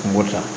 Kungo ta